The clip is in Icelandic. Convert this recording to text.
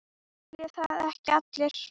Vilja það ekki allir?